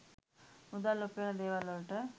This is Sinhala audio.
මුදල් උපයන දේවල්වලට